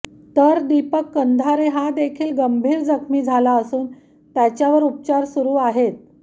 तर दिपक कंधारे हा देखील गंभीर जखमी झाला असून त्याच्यावर उपचार सुरु आहेत